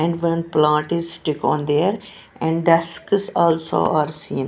And one plant is stick on there and desks also are seen.